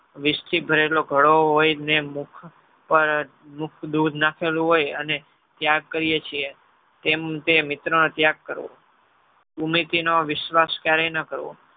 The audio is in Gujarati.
વિષથી ભરેલો ઘડો હોયને મુખ પણ મુખ દૂધ નાખેલું હોય અને ત્યાગ કરિયર છીએ. તેમ તે મિત્રનો ત્યાગ કરવો. ભૂમિતિનો વિશ્વાસ ક્યારેય ન કરવો.